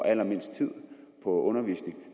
allermindst tid på at undervise